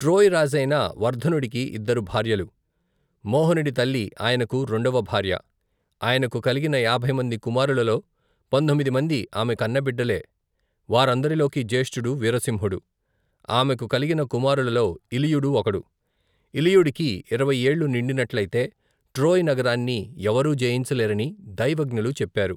Troy రాజైన, వర్ధనుడికి ఇద్దరు భార్యలు, మోహనుడి తల్లి ఆయనకు రెండవ భార్య, ఆయనకు కలిగిన యాభై మంది కుమారులలో, పందొమ్మిది మంది అమె కన్న బిడ్డలే వారందరిలోకీ, జేష్ఠుడు, వీరసింహుడు, ఆమెకు కలిగిన కుమారులలో ఇలియుడు, ఒకడు, ఇలియుడికి ఇరవై ఏళ్లు నిండినట్లయితే ట్రోయ్ నగరాన్ని ఎవరూ జయించలేరని, దైవజ్ఞులు చెప్పారు.